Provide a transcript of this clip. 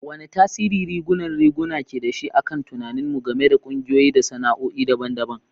Wane tasiri rigunan riguna ke da shi a kan tunaninmu game da ƙungiyoyi da sana'o'i daban-daban?